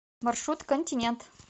маршрут континент